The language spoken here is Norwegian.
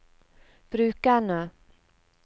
brukerne